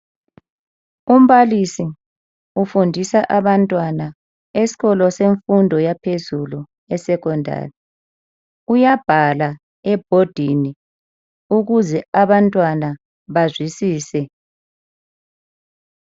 Umbalisi ufundisa abantwana esikolo semfundo yaphezulu esecondary uyabhala ebhodini ukuze bazwisise